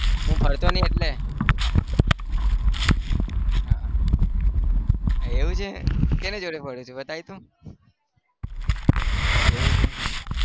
હું ફરતો નહી એટલે હા એવું છે કોની જોડે ફરું છું બતાવ તો એવું છે.